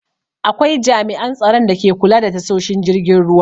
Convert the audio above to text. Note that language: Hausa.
Akwai jami'an tsaron dake kula da tashoshin jiragen ruwa.